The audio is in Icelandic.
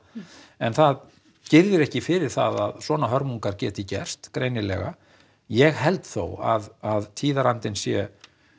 en það girðir ekki fyrir það að svona hörmungar geti gerst greinilega ég held þó að tíðarandinn sé